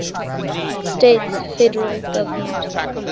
states federal government